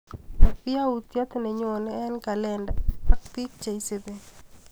Chap yautyet nenyoneeng kalendait ak piik cheeisupi.